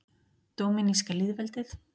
Dóminíska lýðveldið